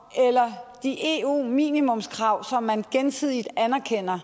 eller de eu minimumskrav som man gensidigt anerkender